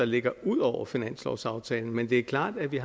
ligger ud over finanslovsaftalen men det er klart at vi